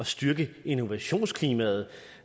styrke innovationsklimaet